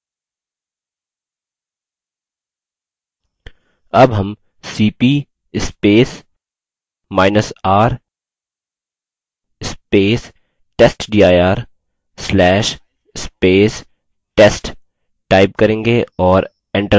अब हम cpr testdir/test type करेंगे और enter दबायेंगे